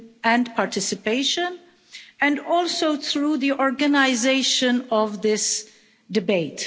and participation, including through the organisation of this debate.